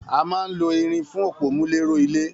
A máa ń lo irin fún òpómúléró ilé